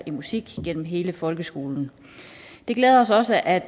i musik gennem hele folkeskolen det glæder os også at